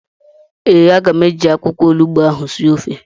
ee, aga m eji akwụkwọ onugbu ahụ sie ofe